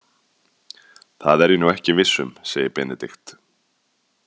Það er ég nú ekki viss um, segir Benedikt.